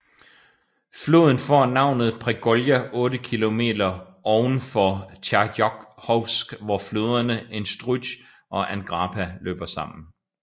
Floden får navnet Pregolja 8 km ovenfor Tjernjakhovsk hvor floderne Instrutj og Angrapa løber sammen